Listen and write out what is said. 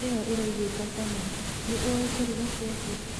ĩyo ĩraiguĩka cama. Nĩ ũĩ kũruga keki?